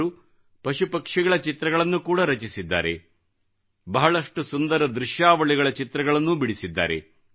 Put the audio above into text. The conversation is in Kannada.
ಅವರು ಪಶು ಪಕ್ಷಿಗಳ ಚಿತ್ರಗಳನ್ನು ಕೂಡ ರಚಿಸಿದ್ದಾರೆಬಹಳಷ್ಟು ಸುಂದರ ದೃಶ್ಯಾವಳಿಗಳ ಚಿತ್ರಗಳನ್ನೂ ಬಿಡಿಸಿದ್ದಾರೆ